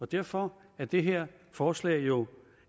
derfor er det her forslag jo